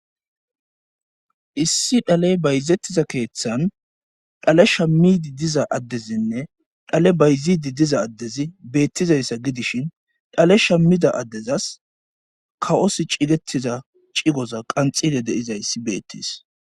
Issi dhaley bayzettiza keeththan dhalesha miidi diza addezinne dhale bayzidi diza addezi beettizayssa gidishin dhalesha mida addezas kawos cigettiza cigoza qanxide deizayssi beettis.